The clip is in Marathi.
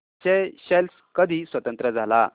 स्येशेल्स कधी स्वतंत्र झाला